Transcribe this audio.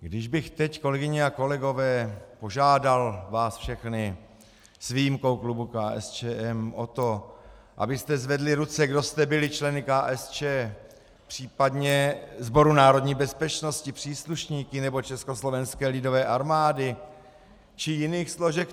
Když bych teď, kolegyně a kolegové, požádal vás všechny s výjimkou klubu KSČM o to, abyste zvedli ruce, kdo jste byli členy KSČ, případně Sboru národní bezpečnosti příslušníky nebo Československé lidové armády či jiných složek.